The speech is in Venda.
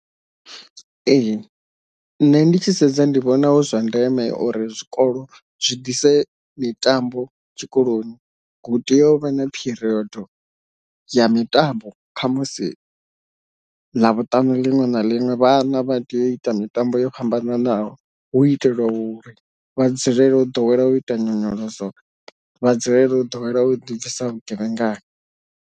Ee nṋe ndi tshi sedza ndi vhona hu zwa ndeme uri zwikolo zwi ḓise mitambo tshikoloni, hu tea u vha na period ya mitambo kha musi ḽavhuṱanu liṅwe na liṅwe vhana vha tea u ita mitambo yo fhambananaho hu itelwa u ri vha dzulele u ḓowela u ita nyonyoloso vha dzulele u ḓowela u dibvisa vhugevhengani.